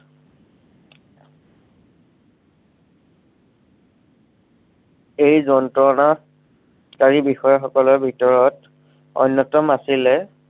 এই কাৰী বিষয়াসকলৰ ভিতৰত অন্য়তম আছিলে